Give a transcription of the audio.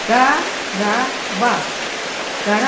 Qarabağ, Qarabağ.